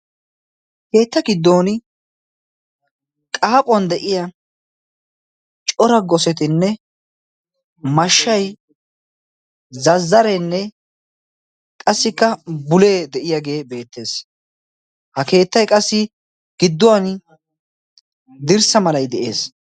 keetta giddon qaaphuwan de'iya cora gosetinne mashshay zazzareenne qassikka bulee de'iyaagee beettees ha keettay qassi gidduwan dirssa malay de'ees